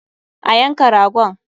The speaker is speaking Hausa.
A yanka ragon!